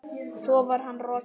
Svo var hann rokinn.